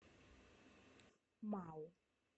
мау